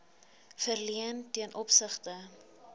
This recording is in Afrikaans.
verleen ten opsigte